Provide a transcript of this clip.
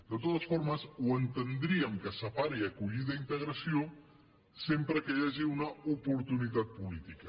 de totes formes entendríem que se separi acollida i integració sempre que hi hagi una oportunitat política